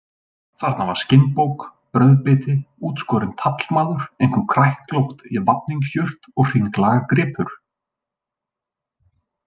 Þarna var skinnbók, brauðbiti, útskorinn taflmaður, einhver kræklótt vafningsjurt og hringlaga gripur.